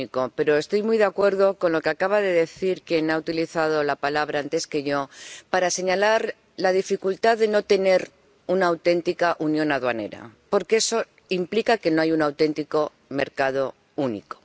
Pero estoy muy de acuerdo con lo que acaba de decir quien ha utilizado la palabra antes que yo, para señalar la dificultad de no tener una auténtica unión aduanera, porque eso implica que no hay un auténtico mercado único.